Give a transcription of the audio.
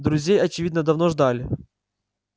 друзей очевидно давно ждали